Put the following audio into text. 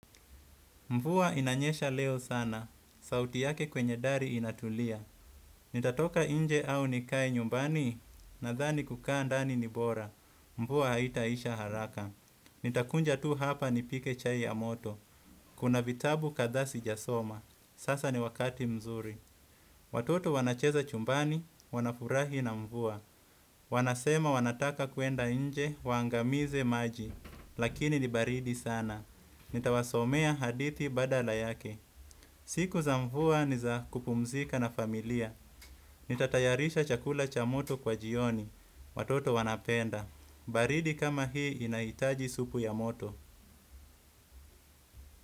Mvua inanyesha leo sana. Sauti yake kwenye dari inatulia. Nitatoka nje au nikae nyumbani, nadhani kukaa ndani ni bora. Mvua haitaisha haraka. Nitakuja tu hapa nipike chai ya moto. Kuna vitabu kadhaa sijasoma. Sasa ni wakati mzuri. Watoto wanacheza chumbani, wanafurahi na mvuwa. Wanasema wanataka kuenda nje, waangamize maji. Lakini ni baridi sana. Nita wasomea hadithi badala yake. Siku za mvua ni za kupumzika na familia. Nitatayarisha chakula cha moto kwa jioni. Watoto wanapenda baridi kama hii inahitaji supu ya moto.